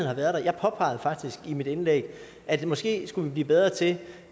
har været der jeg påpegede faktisk i mit indlæg at vi måske skulle blive bedre til